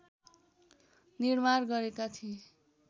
निर्माण गरेका थिए